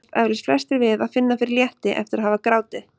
Það kannast eflaust flestir við að finna fyrir létti eftir að hafa grátið.